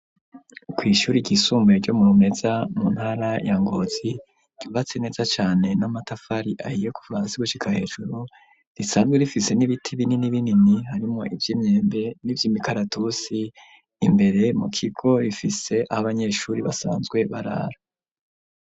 Kw'ishuri ryisumbuye ryo mu Rumeza mu ntara ya Ngozi ryubatse neza cane n'amatafari ahiye kuva hasi gushika hejuru, risanzwe rifise n'ibiti bininibinini harimwo ivy'imyembe n'ivy'imikaratusi, imbere mu kigo rifise abanyeshuri basanzwe barara.